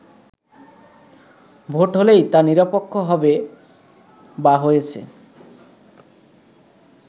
vote হলেই তা নিরপেক্ষ হবে বা হয়েছে